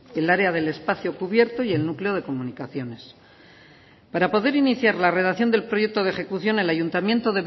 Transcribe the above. el área del espacio cubierto y el núcleo de comunicaciones para poder iniciar la redacción del proyecto de ejecución el ayuntamiento